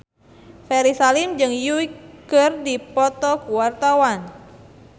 Ferry Salim jeung Yui keur dipoto ku wartawan